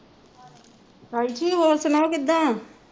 ਹਾਂਜੀ ਹੋਰ ਸੁਣਾਓ ਕਿੱਦਾਂ